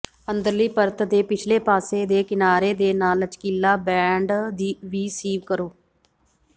ਅੰਦਰਲੀ ਪਰਤ ਦੇ ਪਿਛਲੇ ਪਾਸੇ ਦੇ ਕਿਨਾਰੇ ਦੇ ਨਾਲ ਲਚਕੀਲਾ ਬੈਂਡ ਵੀ ਸੀਵ ਕਰੋ